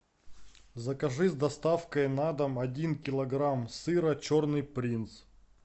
закажи с доставкой на дом один килограмм сыра черный принц